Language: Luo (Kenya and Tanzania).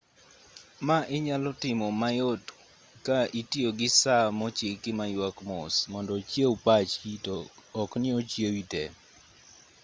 ma inyal tim mayot ka itiyo gi saa mochiki ma yuak mos mondo ochiew pachi to ok ni ochiewi te